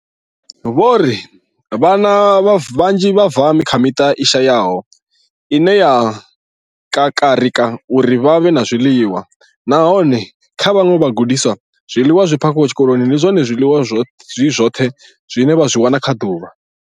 Vho ri, Vhana vhanzhi vha bva kha miṱa i shayaho ine ya kakarika uri hu vhe na zwiḽiwa, nahone kha vhaṅwe vhagudiswa, zwiḽiwa zwi phakhiwaho tshikoloni ndi zwone zwiḽiwa zwi zwoṱhe zwine vha zwi wana kha ḓuvha.